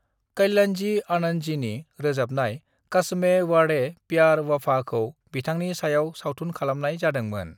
कल्याणजी-आनंदजीनि रोजाबनाय 'कस्मे वाड़े प्यार वफा'खौ बिथांनि सायाव सावथुन खालामनाय जादोंमोन।